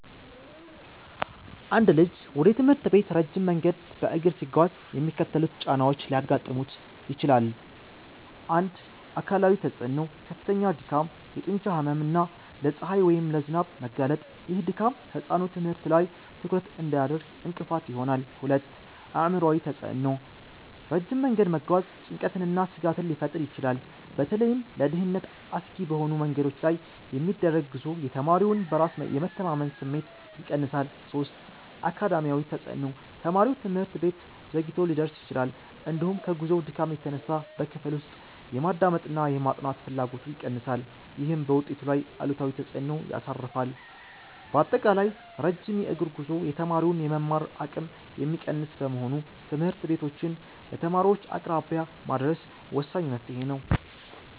አንድ ልጅ ወደ ትምህርት ቤት ረጅም መንገድ በእግር ሲጓዝ የሚከተሉት ጫናዎች ሊያጋጥሙት ይችላል፦ 1. አካላዊ ተፅዕኖ፦ ከፍተኛ ድካም፣ የጡንቻ ህመም እና ለፀሐይ ወይም ለዝናብ መጋለጥ። ይህ ድካም ህጻኑ ትምህርት ላይ ትኩረት እንዳያደርግ እንቅፋት ይሆናል። 2. አእምሯዊ ተፅዕኖ፦ ረጅም መንገድ መጓዝ ጭንቀትንና ስጋትን ሊፈጥር ይችላል። በተለይም ለደህንነት አስጊ በሆኑ መንገዶች ላይ የሚደረግ ጉዞ የተማሪውን በራስ የመተማመን ስሜት ይቀንሳል። 3. አካዳሚያዊ ተፅዕኖ፦ ተማሪው ትምህርት ቤት ዘግይቶ ሊደርስ ይችላል፤ እንዲሁም ከጉዞው ድካም የተነሳ በክፍል ውስጥ የማዳመጥና የማጥናት ፍላጎቱ ይቀንሳል። ይህም በውጤቱ ላይ አሉታዊ ተፅዕኖ ያሳርፋል። ባጠቃላይ፣ ረጅም የእግር ጉዞ የተማሪውን የመማር አቅም የሚቀንስ በመሆኑ ትምህርት ቤቶችን ለተማሪዎች አቅራቢያ ማድረስ ወሳኝ መፍትሔ ነው።